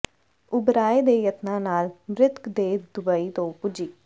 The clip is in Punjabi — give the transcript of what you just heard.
ਉਬਰਾਏ ਦੇ ਯਤਨਾਂ ਨਾਲ ਮਿ੍ਤਕ ਦੇਹ ਦੁਬਈ ਤੋਂ ਪੁੱਜੀ